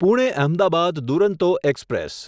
Pune Ahmedabad Duronto express